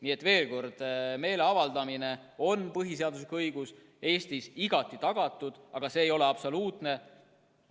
Nii et veel kord: meeleavaldamine on põhiseaduslik õigus, Eestis igati tagatud, aga see ei ole absoluutne.